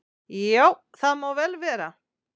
"""Já, það má vel vera."""